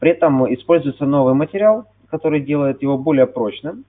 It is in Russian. поэтому используется новый материал который делает его более прочным